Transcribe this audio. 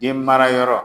Den mara yɔrɔ